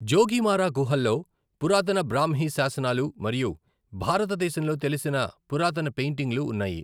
జోగిమారా గుహల్లో పురాతన బ్రాహ్మీ శాసనాలు మరియు భారతదేశంలో తెలిసిన పురాతన పెయింటింగ్లు ఉన్నాయి.